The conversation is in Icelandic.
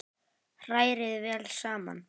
Hrærið vel saman.